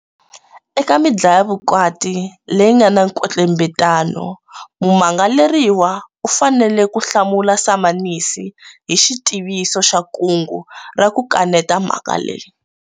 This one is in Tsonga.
Eka midlayavukati leyi nga na nkwetlembetano, mumangaleriwa u fanele ku hlamula samanisi hi xitiviso xa kungu ra ku kaneta mhaka leyi.